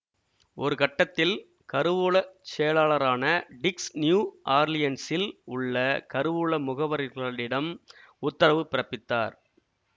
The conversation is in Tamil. ஒருகட்டத்தில் கருவூல செயலாளரான டிக்ஸ் நியூ ஆர்லியன்ஸில் உள்ள கருவூல முகவர்களிடம் உத்தரவு பிறப்பித்தார்